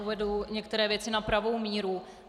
Uvedu některé věci na pravou míru.